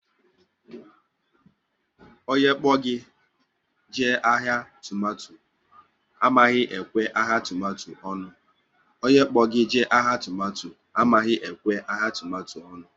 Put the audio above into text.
Onye kpo gị jee ahịa tomato ahụ amaghị ekwe ahịa tomato onu